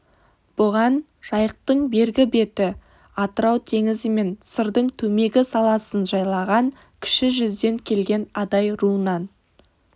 бұған жайықтың бергі беті атырау теңізі мен сырдың төмегі саласын жайлаған кіші жүзден келген адай руынан